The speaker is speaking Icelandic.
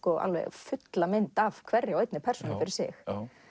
fulla mynd af hverri og einni persónu fyrir sig